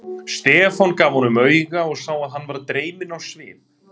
Stefán gaf honum auga og sá að hann varð dreyminn á svip.